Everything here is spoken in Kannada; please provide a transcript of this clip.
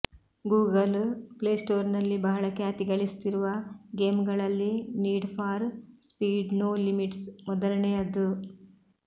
ಗೂಗಲ್ ಪ್ಲೇಸ್ಟೋರ್ನಲ್ಲಿ ಬಹಳ ಖ್ಯಾತಿಗಳಿಸುತ್ತಿರುವ ಗೇಮ್ಗಳಲ್ಲಿ Need for Speed No Limits ಮೊದಲನೆಯದು